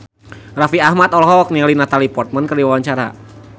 Raffi Ahmad olohok ningali Natalie Portman keur diwawancara